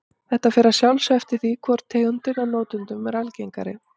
Þetta fer að sjálfsögðu eftir því hvor tegundin af notendunum er algengari.